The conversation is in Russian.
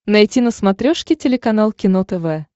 найти на смотрешке телеканал кино тв